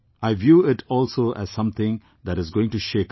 I view it also as something that is going to shake us all